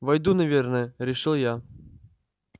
выйду наверное решил я